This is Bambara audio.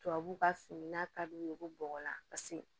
Tubabu ka fini n'a kad'u ye ko bɔgɔla paseke